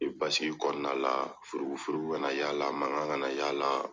basigi kɔnɔna la furugufurugu kaana y'a la mankan kana y'a la